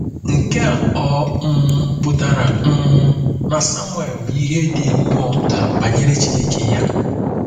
Nke a ọ̀ um pụtara um na Samuel ma ihe dị nnọọ nta banyere Chineke ya?